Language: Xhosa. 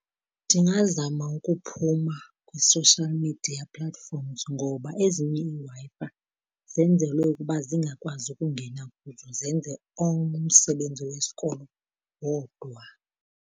Ndingazama ukuphuma kwi-social media platforms ngoba ezinye iiWi-Fi zenzelwe ukuba zingakwazi ukungena kuzo, zenze umsebenzi wesikolo wodwa.